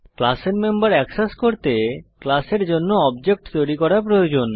ক্লাসের member access করতে ক্লাসের জন্য অবজেক্ট তৈরি করা প্রয়োজন